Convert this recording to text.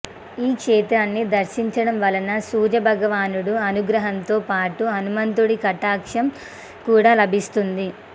ఈ క్షేత్రాన్ని దర్శించడం వలన సూర్యభగవానుడి అనుగ్రహంతో పాటు హనుమంతుడి కటాక్షం కూడా లభిస్తుంది